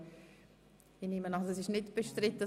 Ich nehme an, dass dies nicht bestritten ist.